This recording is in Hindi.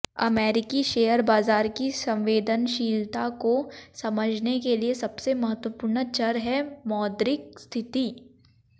अमेरिकी शेयर बाजार की संवेदनशीलता को समझने के लिए सबसे महत्त्वपूर्ण चर है मौद्रिक स्थिति